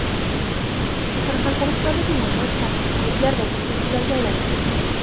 Qoraqalpog‘istondagi namoyish tartibsizliklar va to‘qnashuvlarga aylanib ketdi.